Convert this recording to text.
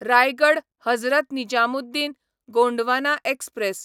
Raigad Hazrat Nizamuddin Gondwana express